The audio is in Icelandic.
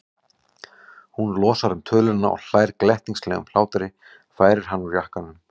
Hún losar um töluna og hlær glettnislegum hlátri, færir hann úr jakkanum.